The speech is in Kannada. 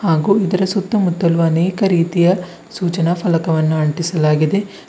ಹಾಗೂ ಇದರ ಸುತ್ತ ಮುತ್ತಲು ಅನೇಕ ರೀತಿಯ ಸೂಚನಾ ಫಲಕವನ್ನು ಅಂಟಿಸಲಾಗಿದೆ.